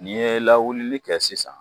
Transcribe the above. N'i ye lawuli kɛ sisan